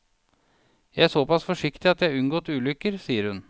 Jeg er såpass forsiktig at jeg har unngått ulykker, sier hun.